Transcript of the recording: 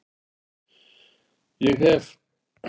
Ég hef!